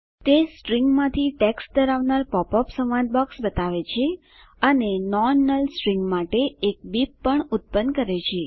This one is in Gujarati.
તે સ્ટ્રિંગમાંથી ટેક્સ્ટ ધરાવનાર પોપઅપ સંવાદ બોક્સ બતાવે છે અને નોન નલ સ્ટ્રિંગ માટે એક બીપ પણ ઉત્પન્ન કરે છે